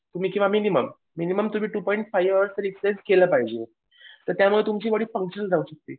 किंवा minimum minimum तुम्ही two point five hours तर एक्झरसाईझ केलं पाहिजे. तर त्यामुळे तुमची बॉडी फंक्शन्ड राहू शकते.